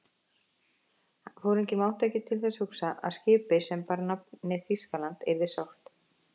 Foringinn mátti ekki til þess hugsa, að skipi, sem bar nafnið Þýskaland, yrði sökkt.